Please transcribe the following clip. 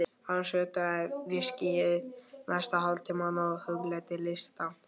Hann sötraði viskíið næsta hálftímann og hugleiddi listann.